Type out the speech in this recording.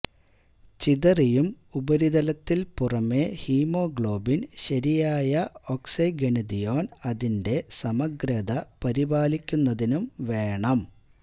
ചിതറിയും ഉപരിതലത്തിൽ പുറമേ ഹീമോഗ്ലോബിൻ ശരിയായ ഒക്സയ്ഗെനതിഒന് അതിന്റെ സമഗ്രത പരിപാലിക്കുന്നതിനും വേണം